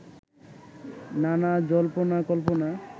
নানা জল্পনাকল্পনা